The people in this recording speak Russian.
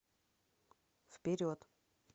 вперед